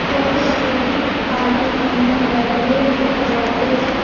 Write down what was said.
ऐसी डेकोरेशन हम party function birthday में करवाते हैं |